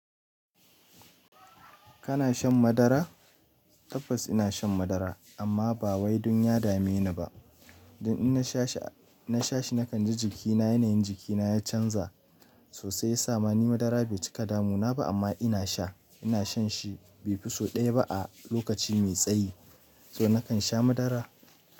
Kana shan madara? Tabbas ina shan madara amma ba wai dun ya dame ni ba. Dan ina sha shi na kan ji jikina yanayin jikina ya canza sosai ya sa ma ni madara bai cika damu na ba amma ina sha. Ina shan shi bai fi so ɗaya ba a lokaci mai tsayi. To na kan sha madara.